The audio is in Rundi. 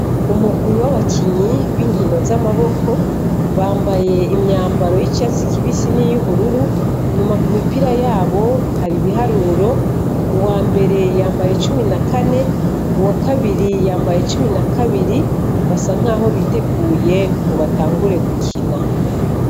Umurwi w' abakinyi binkino z' amaboko, bambaye imyambaro y' icatsi kibisi n' iy' ubururu, inyuma ku mipira yabo hariko ibiharuro, uwa mbere yambaye cumi na kane, uwa kabiri yambaye cumi na kabiri, basa nk' aho biteguye ngo batangure gukina.